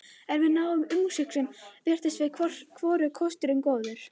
En við nánari umhugsun virtust mér hvorugur kosturinn góður.